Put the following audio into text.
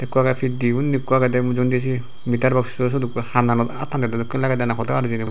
ikko agey pit dey undi ikko agedey mujungedi siye meterboxo syot ikko hananot attan dedey dokken lagedey na hoda hor hijeni.